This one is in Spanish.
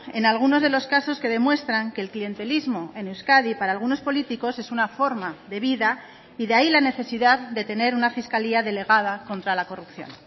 en algunos de los casos que demuestran que el clientelismo en euskadi para algunos políticos es una forma de vida y de ahí la necesidad de tener una fiscalía delegada contra la corrupción